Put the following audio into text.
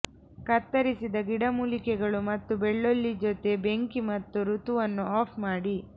ಕತ್ತರಿಸಿದ ಗಿಡಮೂಲಿಕೆಗಳು ಮತ್ತು ಬೆಳ್ಳುಳ್ಳಿ ಜೊತೆ ಬೆಂಕಿ ಮತ್ತು ಋತುವನ್ನು ಆಫ್ ಮಾಡಿ